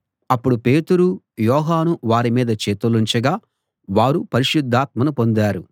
అప్పుడు పేతురు యోహాను వారి మీద చేతులుంచగా వారు పరిశుద్ధాత్మను పొందారు